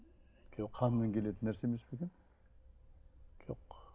қанмен келетін нәрсе емес пе екен жоқ